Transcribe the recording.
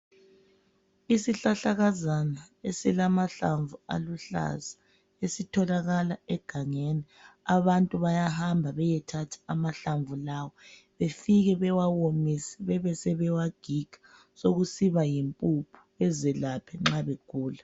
Isihlahla esilamahlamvu aluhlaza esitholakala egangeni abantu bayahamba beyethatha amahlamvu lawa befike bewa womose, bewagige ebe yimpuphu bewasebenzise ukuzelapha uma begula.